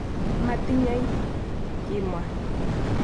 "Matinyei" kimwa.